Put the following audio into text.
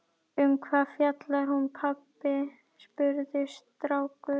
Um hvað fjallar hún pabbi? spurði strákur.